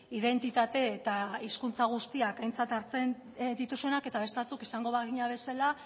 identitate eta hizkuntza guztiak aintzat hartzen dituzuenak eta beste batzuk izango bagina bezala